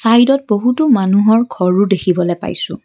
চাইদত বহুতো মানুহৰ ঘৰো দেখিবলৈ পাইছোঁ।